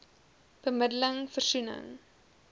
bemidde ling versoening